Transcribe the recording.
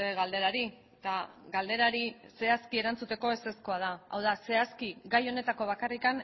galderari eta galderari zehazki erantzuteko ezezkoa da gai honetako bakarrik